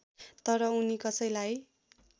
तर उनि कसैलाई